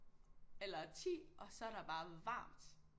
Eller 10 og så er der bare varmt